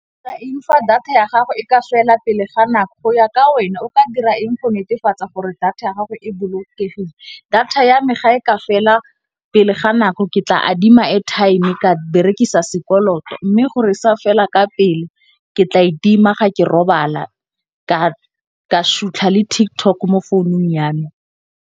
Fa data ya gago e ka fela pele ga nako go ya ka wena o ka dira eng go netefatsa gore data ya gago e bolokegile. Data ya me ga e ka fela pele ga nako ke tla a di airtime-e ka berekisa sekoloto, mme gore sa fela ka pele ke tla e tima ga ke robala ka shutlha le TikTok mo founung yana.